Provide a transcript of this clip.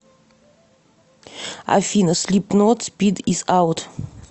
афина слипнот спид ис аут